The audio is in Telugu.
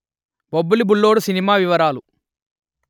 బొబ్బిలి బుల్లోడు సినిమా వివరాలు